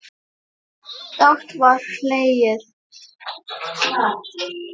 Dátt var hlegið.